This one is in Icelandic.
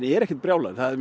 er ekkert brjálaður það er